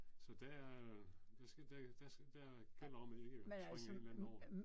Så der er der der gælder om at ikke at springe en eller anden over